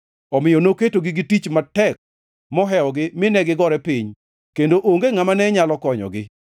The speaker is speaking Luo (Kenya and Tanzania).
Omiyo noketogi gi tich matek mohewogi mine gigore piny kendo onge ngʼama ne nyalo konyogi.